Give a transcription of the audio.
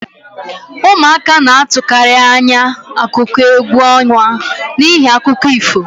Ụmụaka na-atụkarị anya akụkọ égwu ọnwa n'ihi akụkọ ifo